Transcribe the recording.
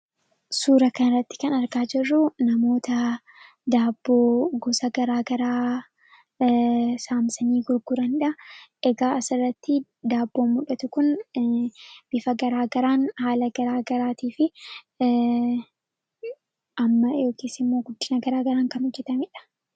suura kanaratti kan argaa jirruu namoota daabboo gosa garaa garaa saamsanii gurguraniidha egaa asirratti daabboo muldhatu kun bifa garaagaraan haala garaa garaatii fi amma yks immoo guddinaa garaa garaan kanu jetamedha